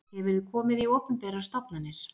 Hefurðu komið í opinberar stofnanir?